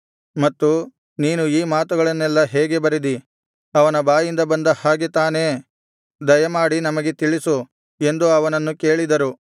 ಮತ್ತು ನೀನು ಈ ಮಾತುಗಳನ್ನೆಲ್ಲಾ ಹೇಗೆ ಬರೆದಿ ಅವನ ಬಾಯಿಂದ ಬಂದ ಹಾಗೆತಾನೇ ದಯಮಾಡಿ ನಮಗೆ ತಿಳಿಸು ಎಂದು ಅವನನ್ನು ಕೇಳಿದರು